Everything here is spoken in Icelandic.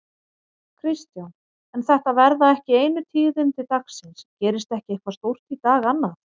Kristján: En þetta verða ekki einu tíðindi dagsins, gerist ekki eitthvað stórt í dag annað?